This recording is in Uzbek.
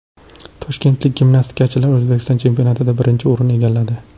Toshkentlik gimnastikachilar O‘zbekiston chempionatida birinchi o‘rinni egalladi.